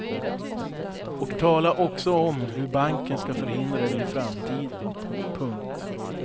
Och tala också om hur banken ska förhindra det i framtiden. punkt